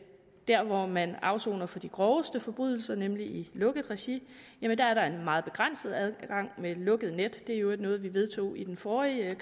der hvor man afsoner for de groveste forbrydelser nemlig i lukket regi er der en meget begrænset adgang med lukket net det var i øvrigt noget vi vedtog i den forrige